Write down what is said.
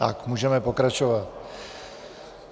Tak, můžeme pokračovat.